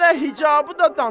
Hələ hicabı da danır.